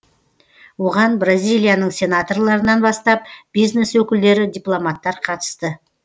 оған бразилияның сенаторларынан бастап бизнес өкілдері дипломаттар қатысты